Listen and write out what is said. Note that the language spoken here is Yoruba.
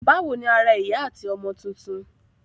Báwo ni ara ìyá àti ọmọ tuntun?